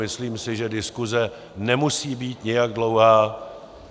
Myslím si, že diskuse nemusí být nijak dlouhá.